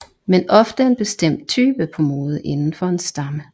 Men ofte en bestemt type på mode inden for en stamme